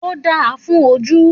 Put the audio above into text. Òdá fún òjú.